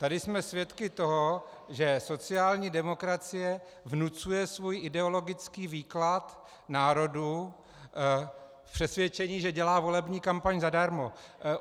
Tady jsme svědky toho, že sociální demokracie vnucuje svůj ideologický výklad národu v přesvědčení, že dělá volební kampaň zadarmo.